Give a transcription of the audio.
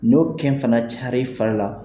N'o kɛn fana cayara i fari la